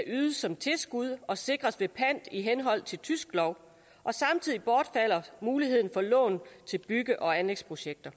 ydet som tilskud og sikres ved pant i henhold til tysk lov samtidig bortfalder muligheden for lån til bygge og anlægsprojekter